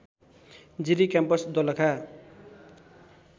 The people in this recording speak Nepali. जिरी क्याम्पस दोलखा